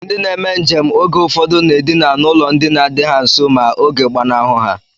Ndị na-eme njem oge ụfọdụ na-edina n'ụlọ ndina dị ha nso ma oge gbanahụ ha